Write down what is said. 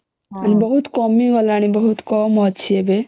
ହୁଁ ଏଇନା ବହୁତ କମି ଗଲାଣି ବହୁତ କମଅଛି ଏବେ